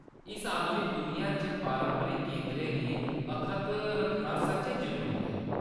इस आधुनिक दुनिया च पारंपरिक कदरें गी अक्खत रक्खना सच्चैं जरूरी ऐ।